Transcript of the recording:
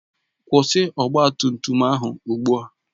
Kwụsị ọgba tum tum ahụ ugbu a!